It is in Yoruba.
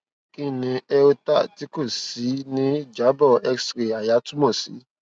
kini aorta ti ko ṣii ni ijabọ xray àyà tumọ si